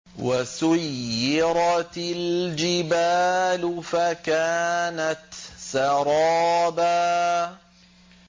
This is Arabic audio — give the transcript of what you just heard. وَسُيِّرَتِ الْجِبَالُ فَكَانَتْ سَرَابًا